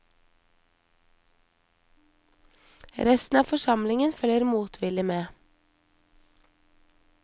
Resten av forsamlingen følger motvillig med.